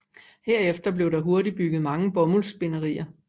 Herefter blev der hurtigt bygget mange bomuldsspinderier